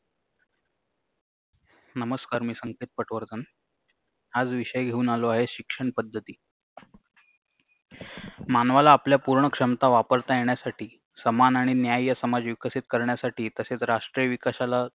नमस्कार मी संकेत पटवर्धन आज विषय घेऊन आलो आहे शिक्षण पद्धती मानवाला आपल्या पूर्ण क्षमता वापरता येण्यासाठी समान आणि न्याय समाज विकसित करण्यासाठी तसेच राष्ट्रीय विकासाला